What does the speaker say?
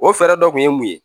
O fɛɛrɛ dɔ kun ye mun ye